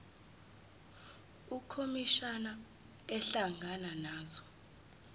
ukhomishana ehlangana nazo